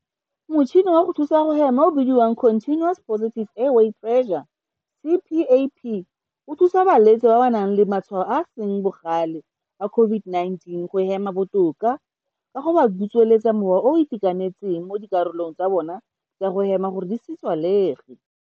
Motšhini wa go thusa go hema o o bidiwang Continuous Positive Airway Pressure CPAP o thusa balwetse ba ba nang le matshwao a a seng bogale a COVID-19 go hema botoka ka go ba butswelela mowa o o itekanetseng mo dikarolong tsa bona tsa go hema gore di se tswalege.